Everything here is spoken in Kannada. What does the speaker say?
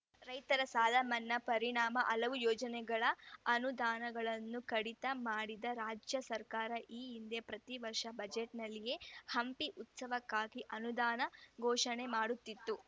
ರೈತರ ಸಾಲಮನ್ನಾ ಪರಿಣಾಮ ಹಲವು ಯೋಜನೆಗಳ ಅನುದಾನಗಳನ್ನು ಕಡಿತ ಮಾಡಿದ ರಾಜ್ಯ ಸರ್ಕಾರ ಈ ಹಿಂದೆ ಪ್ರತಿ ವರ್ಷ ಬಜೆಟ್‌ನಲ್ಲಿಯೇ ಹಂಪಿ ಉತ್ಸವಕ್ಕಾಗಿ ಅನುದಾನ ಘೋಷಣೆ ಮಾಡುತ್ತಿತ್ತು